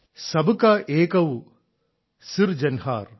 sub കാ ഏകൈൌ സിർ ജൻഹാർ